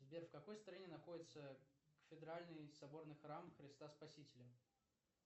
сбер в какой стране находится кафедральный соборный храм христа спасителя